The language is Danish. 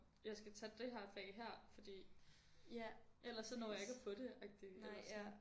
Jeg skal tage dét her fag hér fordi ellers så når jeg ikke at få det agtig eller sådan